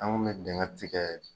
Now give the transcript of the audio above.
An kun bi dingɛ tikɛ